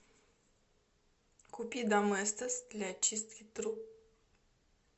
купи доместос для очистки труб